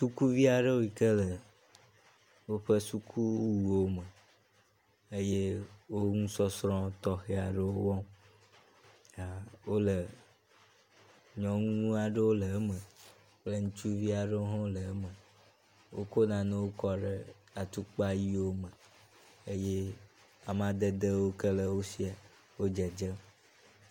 sukuviaɖewo yike le wóƒe sukuwuwo me eye wó ŋusɔsrɔ tɔxeaɖewo wɔm wóle nyɔŋuaɖewo le eme kple ŋutsuviaɖewo hɔ̃ le eme, wóko nanewo kɔɖe atukpa yiwo me eye amadedeo ke le wó sia wó dzedzem